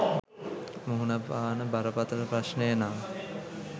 මුහුණපාන බරපතල ප්‍රශ්නය නම්